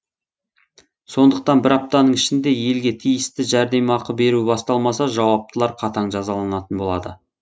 сондықтан бір аптаның ішінде елге тиісті жәрдемақы беру басталмаса жауаптылар қатаң жазаланатын болады